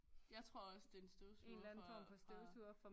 Jeg tror også det er en støvsuger fra